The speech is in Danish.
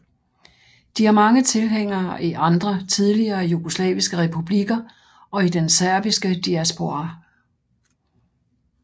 De har mange tilhængere i andre tidligere jugoslaviske republikker og i den serbiske diaspora